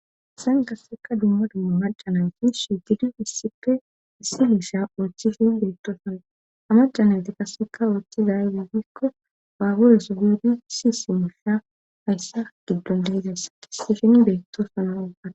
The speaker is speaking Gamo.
issan kasseka dumma dumma macanayti su didu issipfe issi miisha urchishin beettoosana amacanayti kasseka ooththiza ize giikko baabureso biidi si si mulhsa hayssa giddon dehidas ishin beettosana at